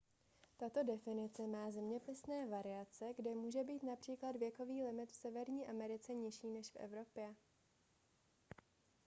tato definice má zeměpisné variace kdy může být například věkový limit v severní americe nižší než v evropě